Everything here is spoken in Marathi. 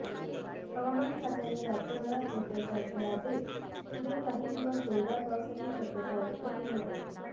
हवामान खात्याने राज्यभरात धोक्याचा इशारा देत पुढील काही दिवस जोरदार पावसाची शक्यता व्यक्त केली आहे